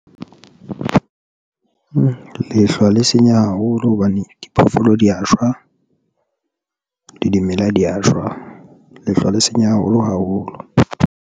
Lehlwa le senya haholo hobane diphoofolo di ya shwa, le dimela di a shwa, lehlwa le senya haholo haholo.